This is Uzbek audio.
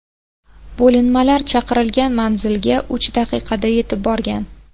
Bo‘linmalar chaqirilgan manzilga uch daqiqada yetib borgan.